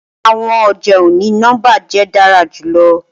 Awọn ọja oni-nọmba jẹ dara julọ